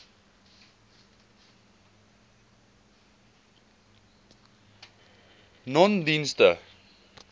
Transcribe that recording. nonedienste